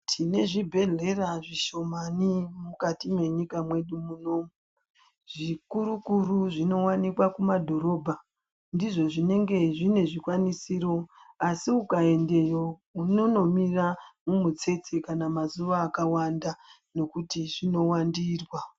Tine zvibhedhlera zvishomani mukati mwenyika mwedu munomu. Zvikuru-kuru zvinowanikwa kumadhorobha, ndizvo zvinenge zvine zvikwanisiro, asi ukaendeyo, unonomira mumitsetse kana mazuwa akawanda, nekuti zvinowandirwa.